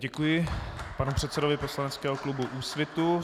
Děkuji panu předsedovi poslaneckého klubu Úsvitu.